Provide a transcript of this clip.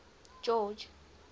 george